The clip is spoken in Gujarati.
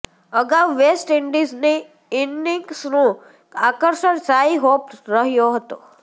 અગાઉ વેસ્ટ ઇન્ડીઝની ઇનિંગ્સનું આકર્ષણ શાઈ હોપ રહ્યો હતો